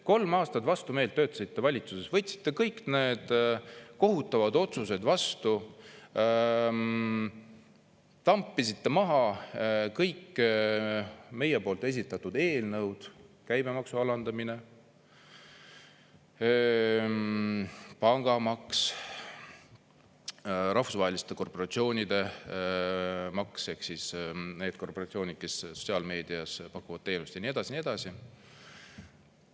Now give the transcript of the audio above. Kolm aastat vastumeelt töötasite valitsuses, võtsite kõik need kohutavad otsuseid vastu, tampisite maha kõik meie poolt esitatud eelnõud: käibemaksu alandamine, pangamaks, rahvusvaheliste korporatsioonide maks ehk siis need korporatsioonid, kes sotsiaalmeedias pakuvad teenust, ja nii edasi ja nii edasi.